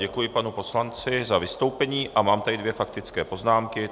Děkuji panu poslanci za vystoupení a mám tady dvě faktické poznámky.